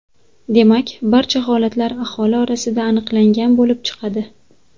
Demak, barcha holatlar aholi orasida aniqlangan bo‘lib chiqadi.